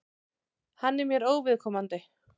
Hann er mér óviðkomandi.